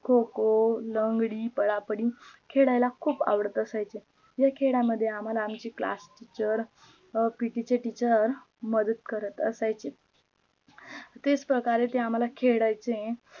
खो खो, लंगडी, पळा पळी खेळायला खूप आवडत असायचे. या खेळा मध्ये आम्हाला आमची class teacher अह PT चे teacher मदत करत असायचे तेच प्रकारे ते आम्हाला खेळायचे